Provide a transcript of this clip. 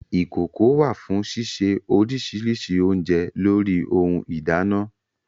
Ìkokò wà fún sísè oríṣiríṣi oúnjẹ lórí ohun ìdáná